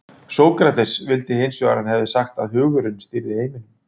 Sókrates vildi hins vegar að hann hefði sagt að hugurinn stýrði heiminum.